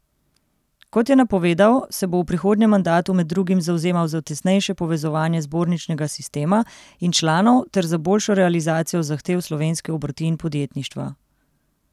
Kot je napovedal, se bo v prihodnjem mandatu med drugim zavzemal za tesnejše povezovanje zborničnega sistema in članov ter za boljšo realizacijo zahtev slovenske obrti in podjetništva.